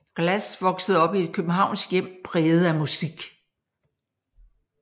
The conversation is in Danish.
Glass voksede op i et københavnsk hjem præget af musik